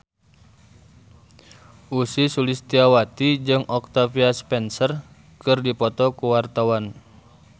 Ussy Sulistyawati jeung Octavia Spencer keur dipoto ku wartawan